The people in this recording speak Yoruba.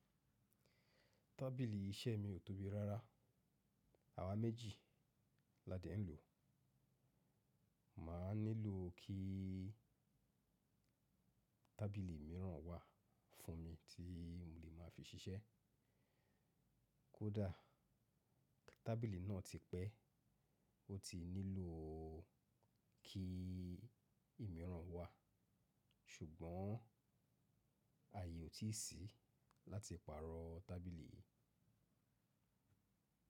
Tábìlì iṣẹ́ mi ò tóbi rárá, àwa méjì la dẹ ń lò. Mà á nílò kí tábìlì mìíràn wà fún mi tí mo lè máa fi ṣiṣẹ́. Kódà tábìlì náà ti pẹ́, o ti nílò kí ìmíràn wà, ṣùgbọ́n ààyè ò tíì sí láti pàrọ̀ tábìlì yìí.